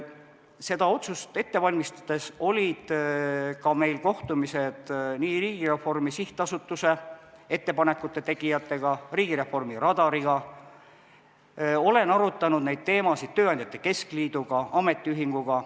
Seda otsust ette valmistades olid meil kohtumised Riigireformi SA ettepanekute tegijatega, Riigireformi Radariga, olen arutanud neid teemasid tööandjate keskliiduga, ametiühinguga.